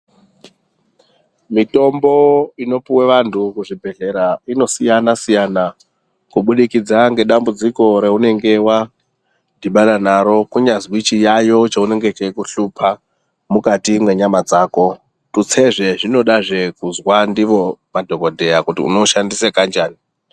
Mitombo inopuwe vantu kuzvibhehlera inosiyana -siyana kubudikidza ngedambudziko raunenge wadhibana naro kunyazwi chiyaiyo chinenge cheikuhlupa mukati mwenyama dzako. Tutsezve zvinodazve kuzwa ndiwo madhokodheya kuti unoushandise kanjani.